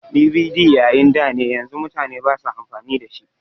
DVD na yayin dane yanzu mutane basa amfani da shi